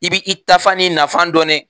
I b'i taa fan ni i na fan dɔn nɛ